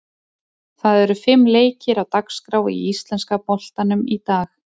Það eru fimm leikir á dagskrá í íslenska boltanum í dag.